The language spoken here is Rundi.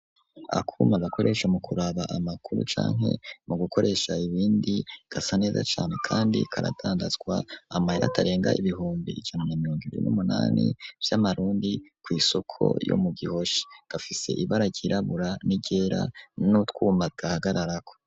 Akuma gakoresha mu kuraba amakuru canke mu gukoresha ibindi gasa neza cane kandi karatandazwa amahera atarenga ibihumbi ijana na mirongo ibiri n'umunani vy'amarundi kw'isoko ryo mu gihosha gafise ibara ryirabura n'iryera n'utwuma gahagararako.